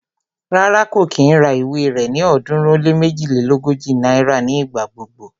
Rárá, kò kí ń ra ìwé rẹ ní ọ̀ọ́dúnrún ó lé méjilélógójì náírà ní ìgbà gbogbo